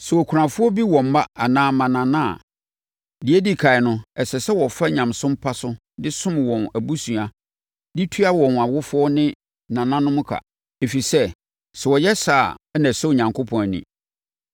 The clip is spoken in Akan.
Sɛ okunafoɔ bi wɔ mma anaa mmanana a, deɛ ɛdi ɛkan no, ɛsɛ sɛ wɔfa nyamesom pa so de som wɔn abusua de tua wɔn awofoɔ ne nananom ka, ɛfiri sɛ, sɛ wɔyɛ saa a na ɛsɔ Onyankopɔn ani.